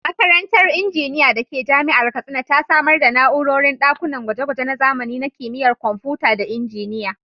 Makarantar Injiniya da ke Jami’ar Katsina ta samar da na’urorin ɗakunan gwaje-gwaje na zamani na Kimiyyar Kwamfuta da Injiniya.